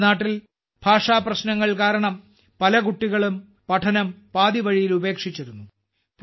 നമ്മുടെ നാട്ടിൽ ഭാഷാപ്രശ്നങ്ങൾ കാരണം പല കുട്ടികളും പഠനം പാതിവഴിയിൽ ഉപേക്ഷിച്ചിരുന്നു